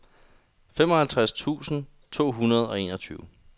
femoghalvtreds tusind to hundrede og enogtyve